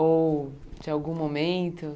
Ou de algum momento?